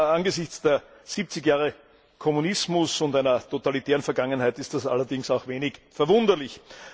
Angesichts der 70 Jahre Kommunismus und einer totalitären Vergangenheit ist das allerdings auch wenig verwunderlich.